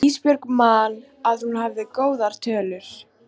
Ísbjörg man að hún hafði góðar tölur.